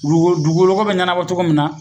Dugukolo dugukoloko be ɲɛnabɔ togo min na